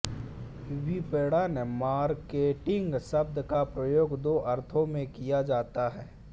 विपणन मार्केटिंग शब्द का प्रयोग दो अर्थों में किया जाता है